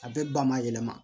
A bɛɛ ba ma yɛlɛma